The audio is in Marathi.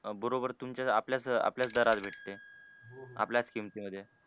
बरोबर तुमच्याच आपल्याच आपल्याच दरात भेटते. आपल्याच किमतीमधे.